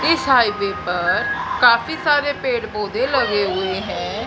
इस हाइवे पर काफी सारे पेड़ पौधे लगे हुए है।